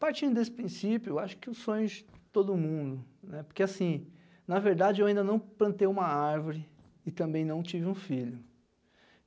Partindo desse princípio, acho que o sonho de todo mundo, né, porque assim, na verdade eu ainda não plantei uma árvore e também não tive um filho.